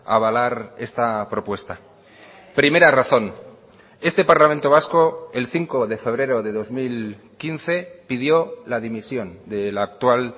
avalar esta propuesta primera razón este parlamento vasco el cinco de febrero de dos mil quince pidió la dimisión de la actual